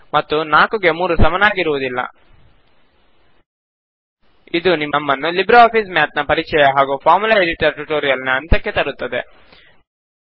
ಮತ್ತು 4 ಗೆ 3 ಸಮನಾಗಿರುವುದಿಲ್ಲ ಇದು ನಮ್ಮ ನ್ನು ಲಿಬ್ರೆ ಆಫಿಸ್ ಮ್ಯಾತ್ ನ ಪರಿಚಯ ಮತ್ತು ಫಾರ್ಮುಲಾ ಎಡಿಟರ್ ಟ್ಯುಟೋರಿಯಲ್ ನ ಅಂತ್ಯಕ್ಕೆ ತರುತ್ತದೆ